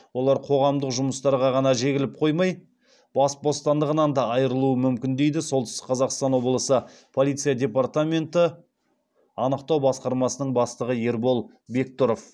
олар қоғамдық жұмыстарға ғана жегіліп қоймай бас бостандығынан да айырылуы мүмкін дейді солтүстік қазақстан облысы полиция департаменті анықтау басқармасының бастығы ербол бектұров